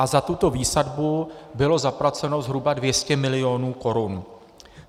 A za tuto výsadbu bylo zaplaceno zhruba 200 milionů korun.